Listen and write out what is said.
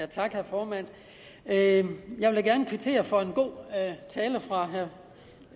tak herre formand jeg vil da gerne kvittere for en god tale fra